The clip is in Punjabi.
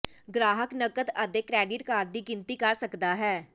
ਗਾਹਕ ਨਕਦ ਅਤੇ ਕ੍ਰੈਡਿਟ ਕਾਰਡ ਦੀ ਗਿਣਤੀ ਕਰ ਸਕਦਾ ਹੈ